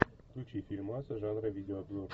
включи фильмас жанра видеообзор